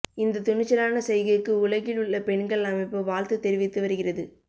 இந்த துணிச்சலான செய்கைக்கு உலகில் உள்ள பெண்கள் அமைப்பு வாழ்த்து தெரிவித்து வருகிறது